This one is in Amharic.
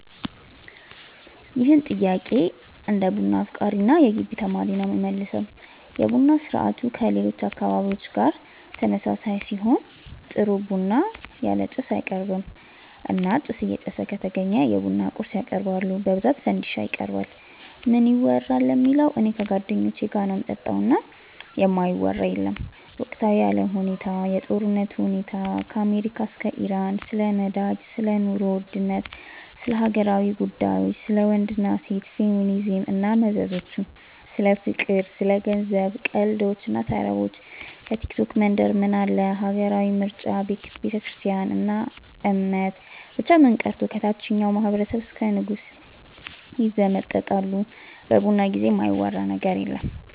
ይህን ጥያቄ እንደ ቡና አፍቃሪ እና የገቢ ተማሪ ነው የምመልሰው። የቡና ስርአቱ ከሌሎች አካባቢዎች ጋር ተመሳሳይ ሲሆን ጥሩ ቡና ያለ ጭስ አይቀርብም እና ጭስ እየጨሰ ከተገኘ የቡና ቁርስ ያቀርባሉ በብዛት ፈንዲሻ ይቀርባል። ምን ይወራል ለሚለው እኔ ከጓደኞቼ ጋር ነው ምጠጣው እና የማይወራ የለም ወቅታዊ የአለም ሁኔታ፣ የጦርነቱ ሁኔታ ከአሜሪካ እስከ ኢራን፣ ስለ ነዳጅ፣ ስለ ኑሮ ውድነት፣ ስለ ሀገራዊ ጉዳዮች፣ ስለ ወንድ እና ሴት፣ ፌሚኒዝም እና መዘዞቹ፣ ስለ ፍቅር፣ ስለ ገንዘብ፣ ቀልዶች እና ተረቦች፣ ከቲክቶክ መንደር ምን አለ፣ ሀገራዊ ምርጫ፣ ቤተክርስትያን እና እምነት፣ ብቻ ምን ቀርቶ ከታቸኛው ማህበረሰብ እስከ ንጉሱ ይዘመጠጣሉ በቡና ጊዜ የማይወራ ነገር የለም።